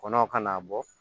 Kɔnɔw ka n'a bɔ